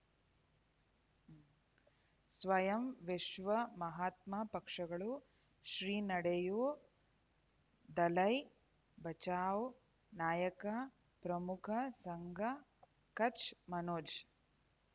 ಸ್ವಯಂ ವಿಶ್ವ ಮಹಾತ್ಮ ಪಕ್ಷಗಳು ಶ್ರೀ ನಡೆಯೂ ದಲೈ ಬಚೌ ನಾಯಕ ಪ್ರಮುಖ ಸಂಘ ಕಚ್ ಮನೋಜ್